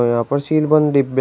यहां पर सील बंद डिब्बे--